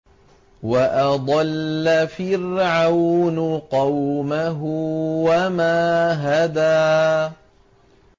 وَأَضَلَّ فِرْعَوْنُ قَوْمَهُ وَمَا هَدَىٰ